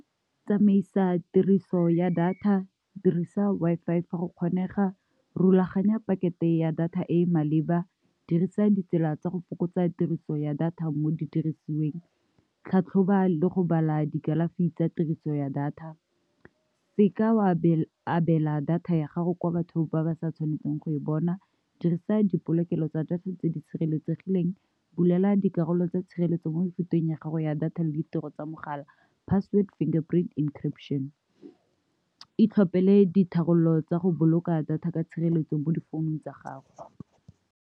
Tsamaisa tiriso ya data, dirisa Wi-Fi fa go kgonega, rulaganya pakete ya data e e maleba, dirisa ditsela tsa go fokotsa tiriso ya data mo di dirisweng . Tlhatlhoba le go bala dikalafi tsa tiriso ya data. Seka wa abela data ya gago kwa batho ba ba sa tshwanetseng go e bona. Dirisa dipolokelo tsa data tse di sireletsegileng, bulela dikarolo tsa tshireletso mo mefuteng ya gago ya data le ditiro tsa mogala password, finger print encryption. Itlhopele ditharololo tsa go boloka data ka tshireletso mo difounung tsa gago.